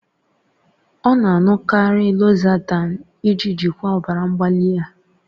Ọ na-aṅụkarị losartan iji jikwaa ọbara mgbali ya.